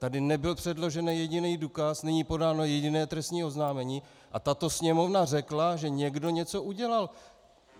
Tady nebyl předložen jediný důkaz, není podáno jediné trestní oznámení, a tato Sněmovna řekla, že někdo něco udělal.